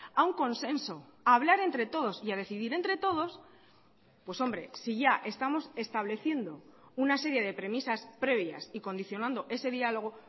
a un consenso a hablar entre todos y a decidir entre todos pues hombre si ya estamos estableciendo una serie de premisas previas y condicionando ese diálogo